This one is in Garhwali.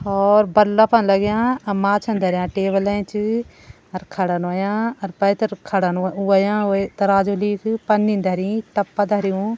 और बल्बन लगयां अ माछान धरयां टेबल एच अर खड़ान होयां अर पैथर खड़ान होयां वे तराजु लीक पन्नि धरिं टप्पा धरयुं।